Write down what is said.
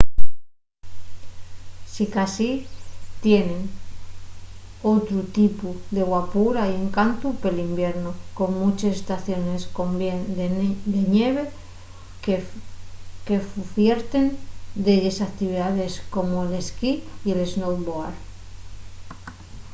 sicasí tienen otru tipu de guapura y encantu pel iviernu con munches estaciones con bien de ñeve qu'ufierten delles actividaes como l'esquí y el snowboard